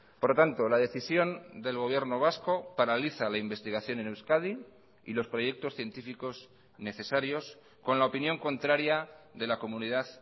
por lo tanto la decisión del gobierno vasco paraliza la investigación en euskadi y los proyectos científicos necesarios con la opinión contraria de la comunidad